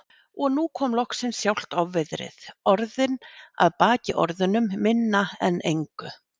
Og nú kom loksins sjálft ofviðrið, orðin að baki orðunum, minna en engu.